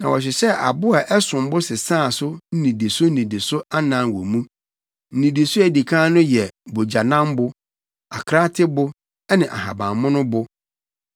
Na wɔhyehyɛɛ abo a ɛsom bo sesaa so nnidiso nnidiso anan wɔ mu. Nnidiso a edi kan no yɛ bogyanambo, akraatebo ne ahabammono bo;